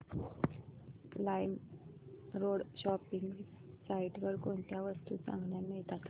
LimeRoad shopping site वर कोणत्या वस्तू चांगल्या मिळतात